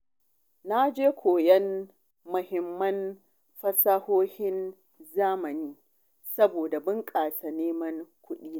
Na je koyon muhimman fasahohin zamani saboda bunƙasa neman kuɗina.